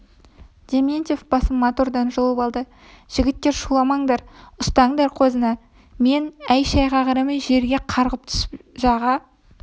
дементьев басын мотордан жұлып алды жігіттер шуламаңдар ұстаңдар қозыны мен әй-шайға қарамай жерге қарғып түсіп жаға